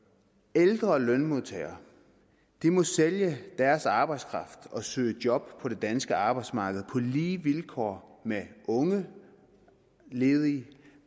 ældre lønmodtagere må sælge deres arbejdskraft og søge job på det danske arbejdsmarked på lige vilkår med unge ledige